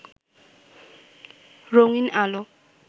রঙিন্ আলো